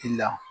I la